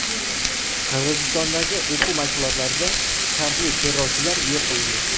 Qirg‘izistondagi o‘quv mashg‘ulotlarida shartli terrorchilar yo‘q qilindi.